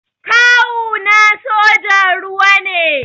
Kawu na sojan ruwa ne